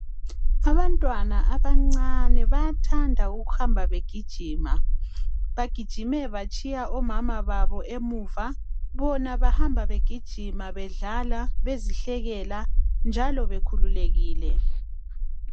Abantwana abancane bayathanda ukuhamba begijima. Bagijime batshiya omama babo emuva bona bahamba begijima bedlala bezihlekela njalo bekhululekile.